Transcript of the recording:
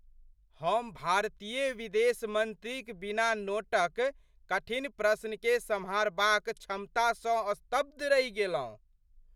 हम भारतीय विदेश मंत्रीक बिना नोटक कठिन प्रश्नकेँ सम्हारबाक क्षमतासँ स्तब्ध रहि गेलहुँ।